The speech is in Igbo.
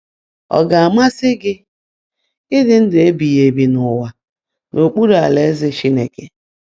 Ọ ga-amasị gị ịdị ndụ ebighị ebi n'ụwa n'okpuru Alaeze Chineke?